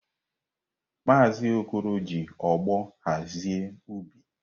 Maazi Okoro ji ogbo hazie ubi.